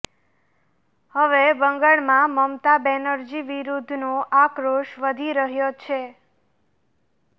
હવે બંગાળમાં મમતા બેનર્જી વિરુદ્ધનો આક્રોશ વધી રહ્યો છે